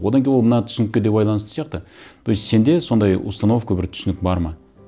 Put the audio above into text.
одан кейін ол мына түсінікке де байланысты сияқты то есть сенде сондай установка бір түсінік бар ма